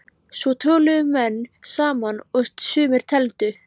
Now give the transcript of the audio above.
Svo töluðu menn saman og sumir tefldu.